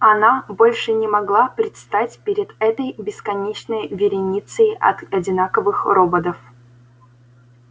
она больше не могла предстать перед этой бесконечной вереницей от одинаковых роботов